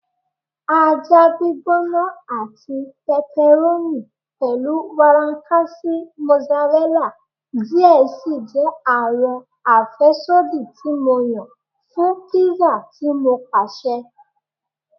Aja gbigbona ati pepperoni pẹlu warankasi mozzarella diẹ sii jẹ awọn afẹsodi ti Mo yan fun pizza ti Mo paṣẹ